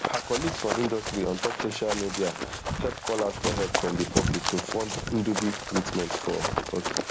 her colleagues for industryontop social mediahelp call out for help from di public to fund ndubi treatment for turkey